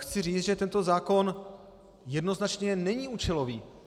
Chci říct, že tento zákon jednoznačně není účelový.